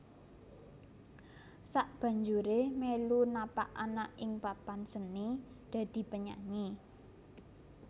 Sakbanjuré melu napak ana ing papan seni dadi penyanyi